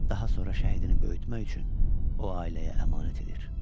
Daha sonra şəhidini böyütmək üçün o ailəyə əmanət edir.